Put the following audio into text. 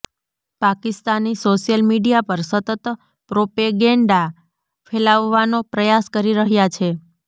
Pakistani social media પર સતત propaganda ફેલાવવાનો પ્રયાસ કરી રહ્યાં છે